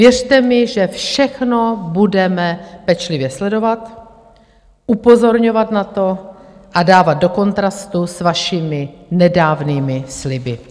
Věřte mi, že všechno budeme pečlivě sledovat, upozorňovat na to a dávat do kontrastu s vašimi nedávnými sliby.